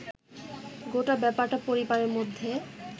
গোটা ব্যাপারটা পরিবারের মধ্যে